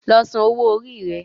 Lọ sàn owó Orí re!